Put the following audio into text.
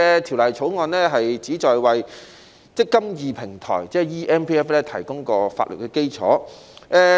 《條例草案》旨在為"積金易"平台，即 eMPF 提供法律基礎，